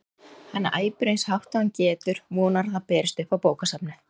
Hann æpir eins hátt og hann getur, vonar að það berist upp á bókasafnið.